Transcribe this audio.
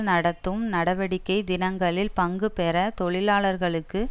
நடத்தும் நடவடிக்கை தினங்களில் பங்கு பெற தொழிலாளர்களுக்கு